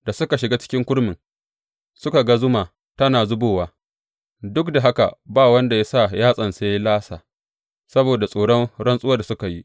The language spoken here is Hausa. Da suka shiga ciki kurmin, suka ga zuma tana zubowa, duk da haka ba wanda ya sa yatsansa ya lasa saboda tsoron rantsuwar da suka yi.